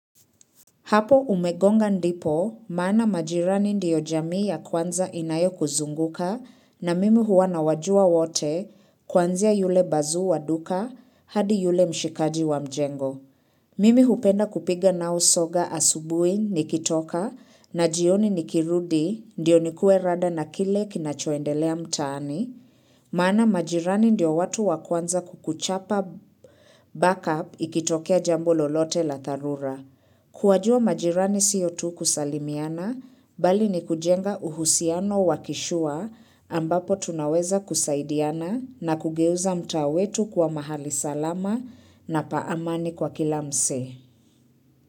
Hapo umegonga ndipo maana majirani ndiyo jamii ya kwanza inayokuzunguka na mimi huwa nawajua wote kuanzia yule bazuu wa duka hadi yule mshikaji wa mjengo. Mimi hupenda kupiga nao soga asubuhi nikitoka na jioni nikirudi ndiyo nikuwe rada na kile kinachoendelea mtaani maana majirani ndio watu wa kwanza kukuchapa backup ikitokea jambo lolote la dharura. Kuwajua majirani sio tu kusalimiana, bali ni kujenga uhusiano wakishua ambapo tunaweza kusaidiana na kugeuza mtaa wetu kuwa mahali salama na pa amani kwa kila msee.